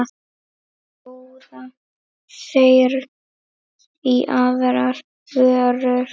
Bjóða þeir í aðrar vörur?